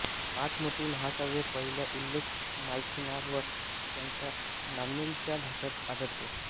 पाच मोठी महाकाव्ये पहिला उल्लेख मायिलानाथर यांच्या नान्नुलच्या भाष्यात आढळतो